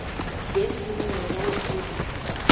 teng ho nyewe ya lekgotla